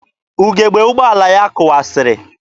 Ugebe ụgbọala ya kụwasịrị.